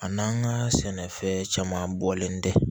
A n'an ka sɛnɛfɛn caman bɔlen tɛ